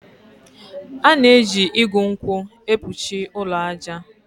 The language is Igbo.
A na-eji igu nkwụ ekpuchi ụlọ aja.